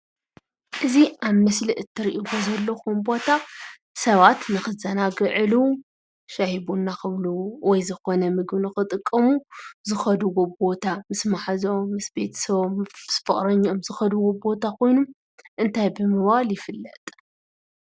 እዚ ኣብ ምስሊ እትሪእዎ ዘለኹም ቦታ ሰባት ንኽዘናግዕሉ፣ ሻሂ ቡና ክብሉ ወይ ዝኾነ ምግቢ ንኽጥቀሙ ዝኸድዎ ቦታ ምስ መሓዝኦም፣ ምስ ቤተሰቦም፣ ምስ ፍቕረኝኦም ዝኸድዎ ቦታ ኮይኑ እንታይ ብምባል ይፍለጥ?